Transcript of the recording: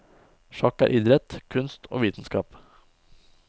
Sjakk er idrett, kunst og vitenskap.